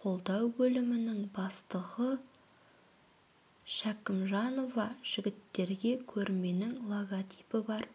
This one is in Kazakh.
қолдау бөлімінің бастығы шәкімжанова жігіттерге көрменің логотипі бар